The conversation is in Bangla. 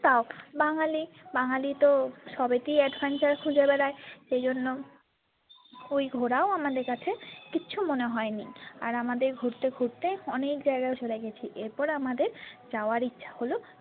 তাও বাঙালি বাঙালি তো সবেতেই adventure খুঁজে বেড়ায় সেইজন্য ওই ঘোরাও আমাদের কাছে কিছু মনে হয়নি আর আমাদের ঘুরতে ঘুরতে অনেক জায়গায় ঘোরা হয়ে গিয়েছে এরপর আমাদের যাবার ইচ্ছে হল।